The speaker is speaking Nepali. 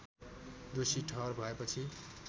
दोषी ठहर भएपछि